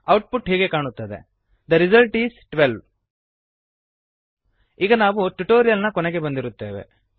output ಹೀಗೆ ಕಾಣುತ್ತದೆ the result is 12 ಈಗ ನಾವು ಟ್ಯುಟೋರಿಯಲ್ ನ ಕೊನೆಗೆ ಬಂದಿರುತ್ತೇವೆ